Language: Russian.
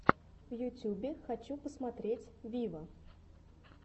в ютюбе хочу посмотреть виво